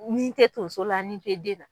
Nin tɛ tonso la nin tɛ den na.